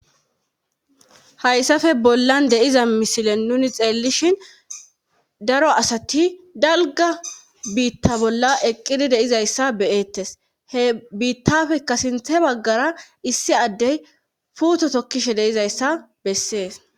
Hayssafe bollan de7iza misile nuni xeelishin daro asati dalgga biita bolla eqqqidi de7izayssa be7eettees he biittafekka issi baggara issi addey puuto tokkishe de7izayssa besssees.